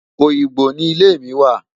Oyingbo ni ilé mi wà.